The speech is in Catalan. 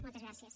moltes gràcies